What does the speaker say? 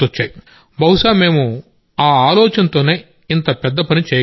బహుశా మేం ఈ ఆలోచనతోనే ఇంత పెద్ద పని చేయగలిగాం